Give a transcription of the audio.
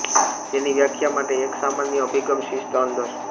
તેની વ્યાખ્યા માટે એક સામાન્ય અભિગમ શિસ્ત અંદર